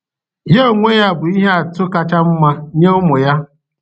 Ya onwe ya bụ ihe atụ kacha mma nye ụmụ ya